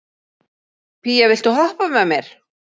Pía, viltu hoppa með mér?